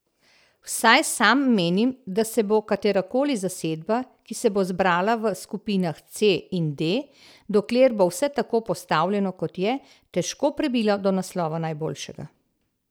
Vsaj sam menim, da se bo katerakoli zasedba, ki se bo zbrala v skupinah C in D, dokler bo vse tako postavljeno kot je, težko prebila do naslova najboljšega.